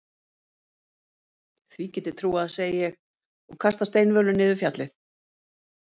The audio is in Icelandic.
Því get ég trúað, segi ég og kasta steinvölu niður fjallið.